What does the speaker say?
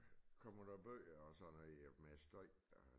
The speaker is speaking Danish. Kommer der bøger og sådan noget med støj og